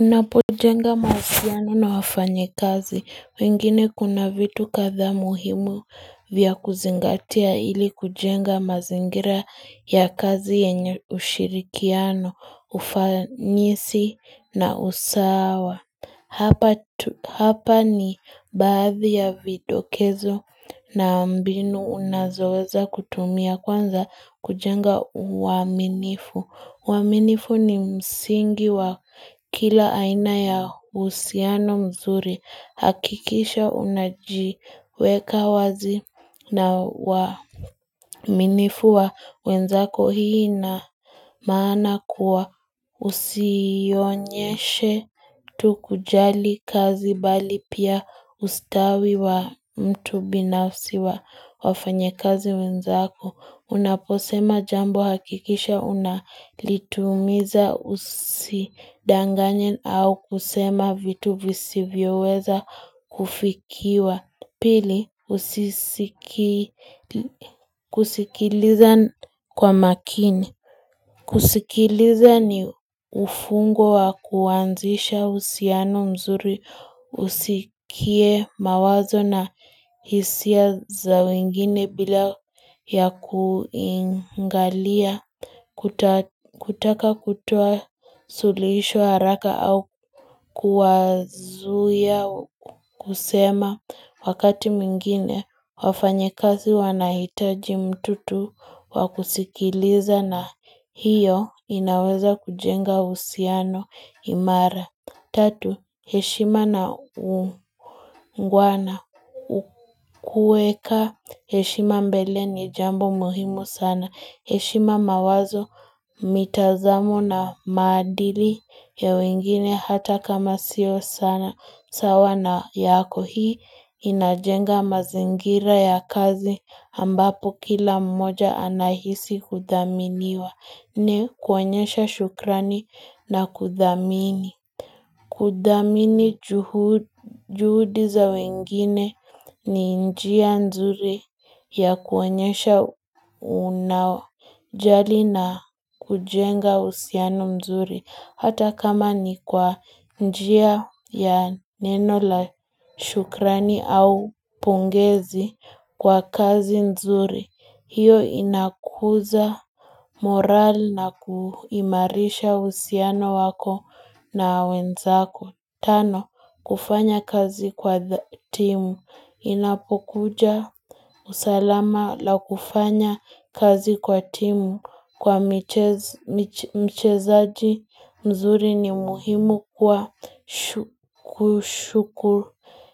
Unapo jenga mazikiano na wafanye kazi, wengine kuna vitu katha muhimu vya kuzingatia ili kujenga mazingira ya kazi yenye ushirikiano, ufanyisi na usawa. Hapa ni bathi ya vidokezo na ambinu unazoza kutumia kwanza kujenga waminifu. Waminifu ni msingi wa kila aina ya usiano mzuri hakikisha unajiweka wazi na waminifu wa wenzako hii na maana kuwa usionyeshe. Tukujali kazi bali pia ustawi wa mtu binafsi wa wafanye kazi wenzako. Unaposema jambo hakikisha unalitumiza usidanganye au kusema vitu visivyo weza kufikiwa. Pili, usisikiliza kwa makini. Kusikiliza ni ufungo wa kuanzisha usiano mzuri, usikie mawazo na hisia za wengine bila ya kuingalia. Kutaka kutoa suhulisho haraka au kuwazuya kusema wakati mingine. Wafanyekazi wanahitaji mtutu wakusikiliza na hiyo inaweza kujenga usiano imara Tatu, heshima na ngwana ukueka, heshima mbele ni jambo muhimu sana heshima mawazo mitazamo na madili ya wengine hata kama sio sana sawa na yako hii inajenga mazingira ya kazi ambapo kila mmoja anahisi kudaminiwa ni kuanyesha shukrani na kudamini kudamini juhudi za wengine ni njia nzuri ya kuanyesha unawajali na kujenga husiano nzuri hata kama ni kwa njia ya neno la shukrani au pungezi kwa kazi nzuri, hiyo inakuza moral na kuimarisha usiano wako na wenzako. Tano, kufanya kazi kwa timu. Inapokuja usalama la kufanya kazi kwa timu. Kwa mchezaji mzuri ni muhimu kwa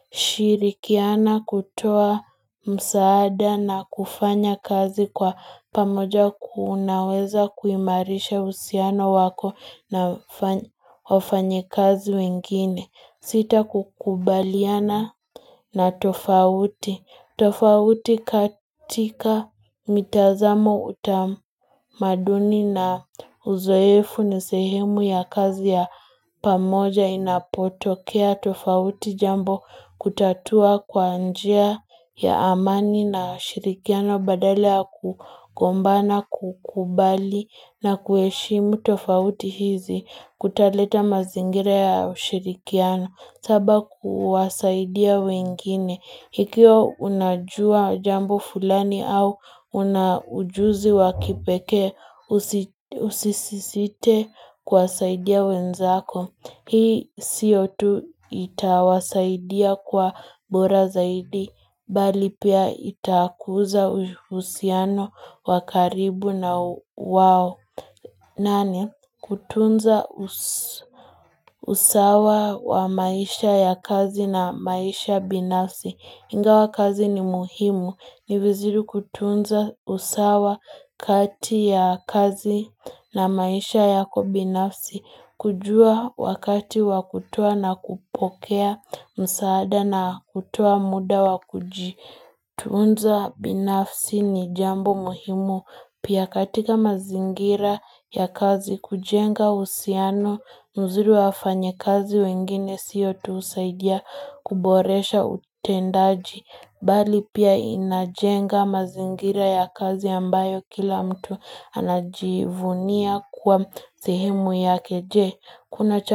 kushirikiana kutoa msaada na kufanya kazi kwa pamoja kuunaweza kuimarisha usiano wako na wafanyi kazi wengine. Sita kukubaliana na tofauti. Tofauti katika mitazamo utamaduni na uzoefu nesehemu ya kazi ya pamoja inapotokea tofauti jambo kutatua kwa njia ya amani na shirikiano badale ya kukombana kukubali na kueshimu tofauti hizi kutaleta mazingire ya shirikiano. Saba kuwasaidia wengine. Hikio unajua jambo fulani au unajuzi wakipeke usisisite kwa saidia wenzako. Hii sio tu itawasaidia kwa bora zaidi. Balipia itakuza usiano wakaribu na wao. Nani, kutunza usawa wa maisha ya kazi na maisha binafsi ingawa kazi ni muhimu Niviziru kutunza usawa kati ya kazi na maisha yako binafsi kujua wakati wakutua na kupokea msaada na kutua muda wakujii Tunza binafsi ni jambo muhimu Pia katika mazingira ya kazi kujenga usiano mzuri wafanya kazi wengine siyo tuusaidia kuboresha utendaji bali pia inajenga mazingira ya kazi ambayo kila mtu anajivunia kwa zihimu ya keje kuna changa.